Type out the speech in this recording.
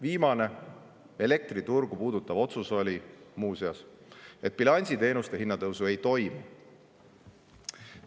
Viimane elektriturgu puudutav otsus oli muuseas, et bilansiteenuste hinnatõusu ei toimu.